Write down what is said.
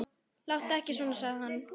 Láttu ekki svona, sagði hann.